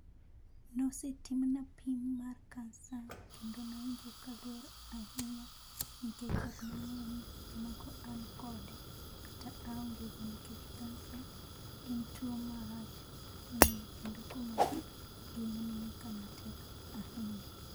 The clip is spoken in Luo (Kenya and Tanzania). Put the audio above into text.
Nosetimna pim mar kansa kendo nawinjo ka ber ahinya kendo ne ok nang'eyo ni seche moko an kode kata aonge go nikech kansa en tuo marach ahinya kendo komaki ngima ni nikama tek ahinya.